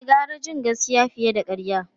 E, gara jin gaskiya fiye da karya.